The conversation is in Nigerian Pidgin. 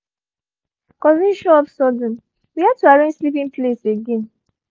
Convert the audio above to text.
cousin show up sudden we had to arrange sleeping place again